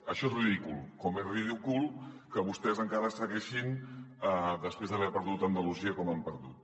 això és ridícul com és ridícul que vostès encara segueixin després d’haver perdut andalusia com l’han perdut